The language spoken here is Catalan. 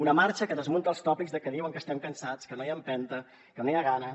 una marxa que desmunta els tòpics que diuen que estem cansats que no hi ha empenta que no hi ha ganes